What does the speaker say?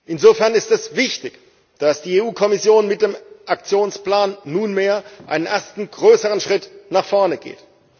Insofern ist es wichtig, dass die EU Kommission mit dem Aktionsplan nunmehr einen ersten größeren Schritt nach vorn geht.